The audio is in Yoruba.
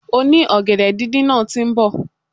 Oni ògèdè díndín náà ti nbò